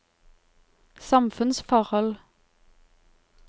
samfunnsforhold